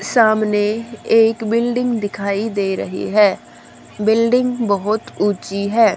सामने एक बिल्डिंग दिखाई दे रही है बिल्डिंग बहोत ऊंची है।